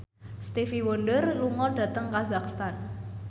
Stevie Wonder lunga dhateng kazakhstan